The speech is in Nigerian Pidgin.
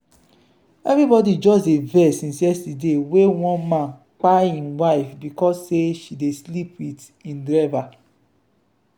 everybody just dey vex since yesterday wey one man kpai im wife because sey she dey sleep with im driver.